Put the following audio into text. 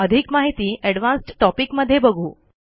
अधिक माहिती advanced topic मध्ये बघू